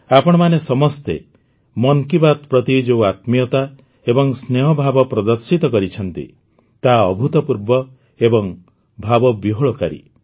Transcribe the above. ଆପଣମାନେ ସମସ୍ତେ ମନ୍ କି ବାତ୍ ପ୍ରତି ଯେଉଁ ଆତ୍ମୀୟତା ଏବଂ ସ୍ନେହଭାବ ପ୍ରଦର୍ଶିତ କରିଛନ୍ତି ତାହା ଅଭୁତପୂର୍ବ ଏବଂ ଭାବବିହ୍ୱଳକାରୀ